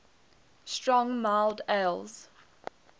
strong mild ales